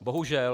Bohužel.